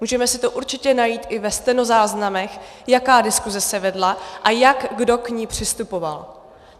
Můžeme si to určitě najít i ve stenozáznamech, jaká diskuse se vedla a jak kdo k ní přistupoval.